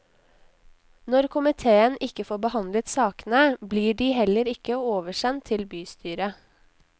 Når komitéen ikke får behandlet sakene blir de heller ikke oversendt til bystyret.